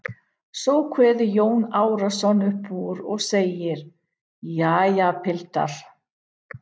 Svo kveður Jón Arason upp úr og segir: Jæja, piltar.